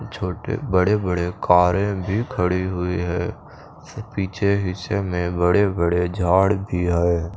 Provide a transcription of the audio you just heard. छोटे बड़े बड़े कारे भी खड़ी हुई है पीछे हिस्से में बड़े बड़े झाड भी है।